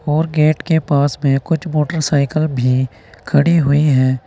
और गेट के पास में कुछ मोटरसाइकिल भी खड़ी हुई है।